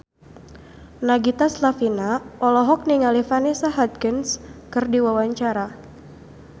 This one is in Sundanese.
Nagita Slavina olohok ningali Vanessa Hudgens keur diwawancara